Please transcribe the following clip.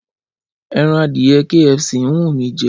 Ẹran adìyẹ KFC ń wù mí jẹ